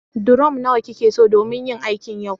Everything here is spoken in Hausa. durom nawa kikeso domin yin aikin yau